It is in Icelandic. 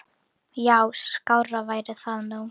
Já, skárra væri það nú.